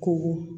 K'o